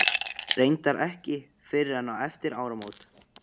Reyndar ekki fyrr en eftir áramót.